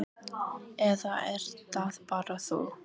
Eða ert það bara þú?